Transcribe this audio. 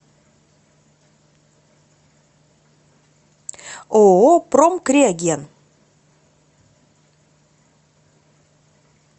ооо промкриоген